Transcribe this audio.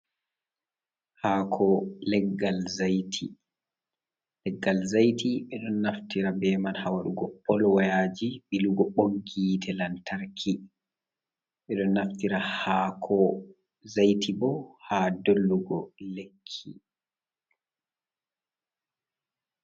Hako leggal zaiti, leggal zaiti ɓe ɗon naftira be man ha waɗugo pol wayaji, ɓilugo ɓoggi yiite lantarki. Ɓe don naftira ha ko zaiti bo ha dollugo lekki.